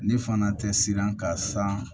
Ne fana tɛ siran ka san